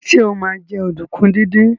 Sọ ma jẹ́ ọ̀dùnkún díndín?